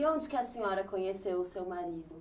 E onde que a senhora conheceu o seu marido?